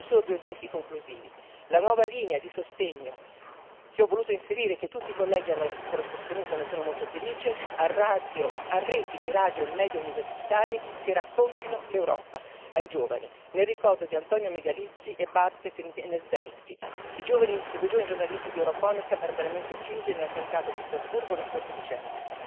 Faccio solo due esempi conclusivi la nuova linea di sostegno che ho voluto inserire e, che tutti i colleghi hanno sostenuto, e ne sono molto felice a reti di radio e media universitari che raccontino l'Europa ai giovani, nel ricordo di Antonio Megalizzi e Bartek Orent Niedzielski, i due giovani giornalisti di Europhonica barbaramente uccisi nell'attentato di Strasburgo lo scorso dicembre.